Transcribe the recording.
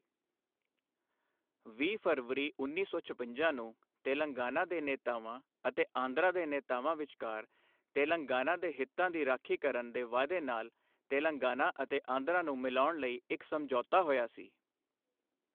ਵੀਹ ਫਰਵਰੀ ਉੱਨੀ ਸੌ ਛਪੰਜਾ ਨੂੰ ਤੇਲੰਗਾਨਾ ਦੇ ਨੇਤਾਵਾਂ ਅਤੇ ਆਂਧਰਾ ਦੇ ਨੇਤਾਵਾਂ ਵਿਚਕਾਰ ਤੇਲੰਗਾਨਾ ਦੇ ਹਿੱਤਾਂ ਦੀ ਰਾਖੀ ਕਰਨ ਦੇ ਵਾਅਦੇ ਨਾਲ ਤੇਲੰਗਾਨਾ ਅਤੇ ਆਂਧਰਾ ਨੂੰ ਮਿਲਾਉਣ ਲਈ ਇੱਕ ਸਮਝੌਤਾ ਹੋਇਆ ਸੀ।